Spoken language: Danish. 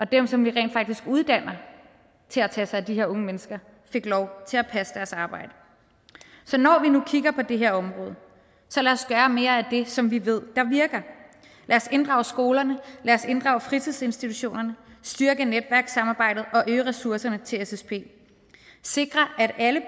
dem som vi rent faktisk uddanner til at tage sig af de her unge mennesker fik lov til at passe deres arbejde så når vi nu kigger på det her område så lad os gøre mere af det som vi ved virker lad os inddrage skolerne lad os inddrage fritidsinstitutionerne styrke netværkssamarbejdet og øge ressourcerne til ssp og sikre at alle